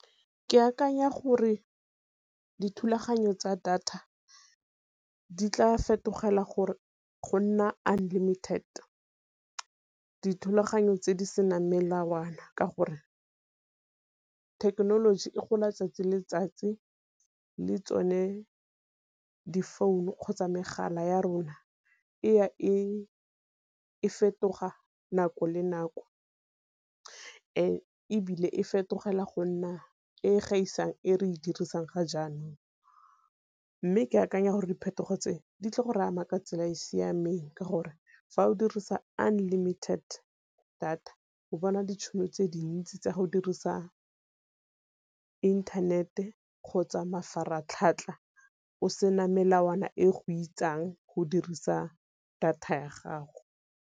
Ke akanya gore dithulaganyo tsa data di tla fetogela go nna unlimited, dithulaganyo tse di senang melawana ka gore thekenoloji e gola tsatsi le letsatsi le tsone di-phone -u kgotsa megala ya rona, e ya e fetoga nako le nako. Ebile e fetogela go nna e gaisang e re e dirisang ga jaanong. Mme ke akanya gore diphetogo tse di tle go re ama ka tsela e e siameng ka gore fa o dirisa unlimited data go bona ditšhono tse dintsi tsa go dirisa internet-e kgotsa mafaratlhatlha o sena melawana e go itsang go dirisa data ya gago.